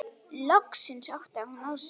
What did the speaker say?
Loksins áttaði hún sig.